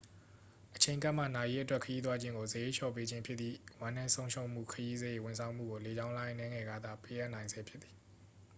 အချိန်ကပ်မှ နာရေးအတွက် ခရီးသွားခြင်းကို စရိတ်လျော့ပေးခြင်းဖြစ်သည့် ဝမ်းနည်းဆုံးရှုံးမှုခရီးစရိတ် ဝန်ဆောင်မှုကို လေကြောင်းလိုင်း အနည်းငယ်ကသာ ပေးအပ်နိုင်ဆဲဖြစ်သည်